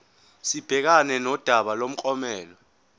sibhekane nodaba lomklomelo